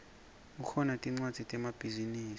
kukhona tmcwadzi temabhizinisi